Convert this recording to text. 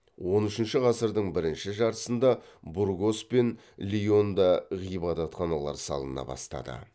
он үшінші ғасырдың бірінші жартысында бургос пен леонда ғибадатханалар салына бастады